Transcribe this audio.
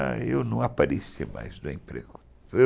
Ah, eu não apareci mais no emprego.